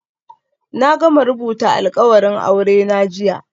Na gama rubuta alkawarin aurena jiya